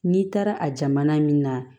N'i taara a jamana min na